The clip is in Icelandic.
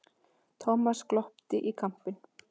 Thomas glotti í kampinn.